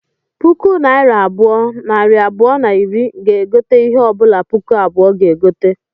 Puku naira abụọ, nari abụọ na iri ga-egote ihe ọbụla puku abụọ ga-egote